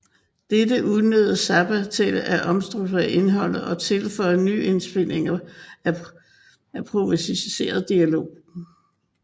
Dette udnyttede Zappa til at omstrukturere indholdet og tilføje nyindspilninger af improviseret dialog